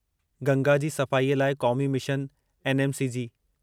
गंगा जी सफ़ाईअ लाइ क़ौमी मिशन एनएमसीजी